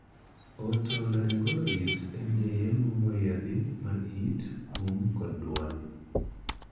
Otolaryngologist' en jayengo moyiedhi mar it, um, kod duol.